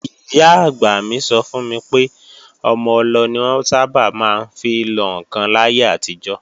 Ìyá-àgbà mi sọ fún mi pé ọmọ-ọlọ ni wọ́n sábà máa ń fi lọ ǹkan láyé àtijọ́